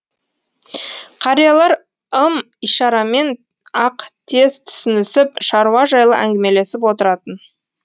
қариялар ым ишарамен ақ тез түсінісіп шаруа жайлы әңгімелесіп отыратын